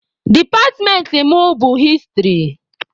Departmentị mụ bụ hịstrị.